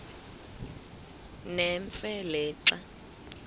nemfe le xa